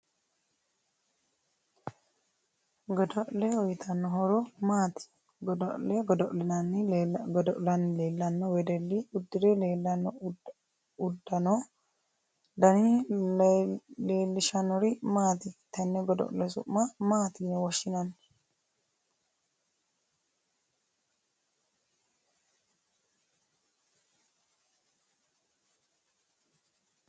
Gido'le uyiitanno horo maati goddo'le godola'ni leelanno wedelli uddire leelanno uddanotw dani leelishanori maati tenne godo'le su'ma maati yine woshinanni